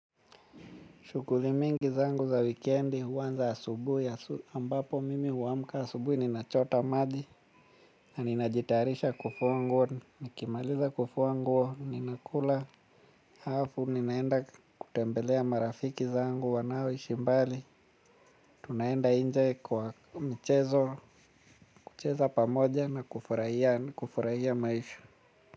Shughuli mingi zangu za weekendi huanza asubuhi ambapo mimi huamka asubuhi ninachota maji. Na ninajitayarisha kufua nguo nikimaliza kufua nguo ninakula halafu ninaenda kutembelea marafiki zangu wanaoishi mbali. Tunaenda nje kwa mchezo kucheza pamoja na kufurahia maisha.